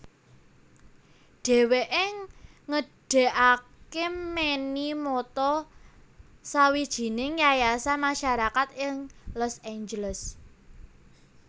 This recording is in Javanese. Dheweke ngedegake Manny Mota sawijining yayasan masarakat ing Los Angeles